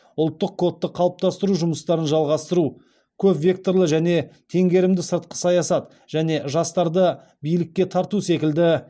ұлттық кодты қалыптастыру жұмыстарын жалғастыру көп векторлы және теңгерімді сыртқы саясат және жастарды билікке тарту секілді